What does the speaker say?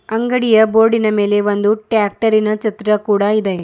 ಅಂಗಡಿಯ ಬೋರ್ಡಿನ ಮೇಲೆ ಒಂದು ಟ್ರ್ಯಾಕ್ಟರಿನ ಚಿತ್ರ ಕೂಡ ಇದೆ.